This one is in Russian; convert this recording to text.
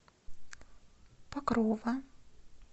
покрова